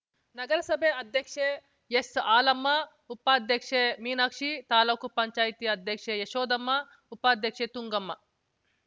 ನಗರಸಭೆ ಅಧ್ಯಕ್ಷೆ ಎಸ್‌ ಹಾಲಮ್ಮ ಉಪಾಧ್ಯಕ್ಷೆ ಮೀನಾಕ್ಷಿ ತಾಲೂಕುಪಂಚಾಯತಿ ಅಧ್ಯಕ್ಷೆ ಯಶೋದಮ್ಮ ಉಪಾಧ್ಯಕ್ಷೆ ತುಂಗಮ್ಮ